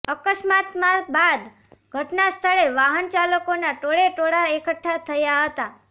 અકસ્માતમાં બાદ ઘટના સ્થળે વાહન ચાલકોના ટોળેટોળાં એકઠા થયા હતા